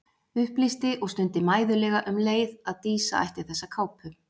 Upplýsti og stundi mæðulega um leið að Dísa ætti þessa kápu.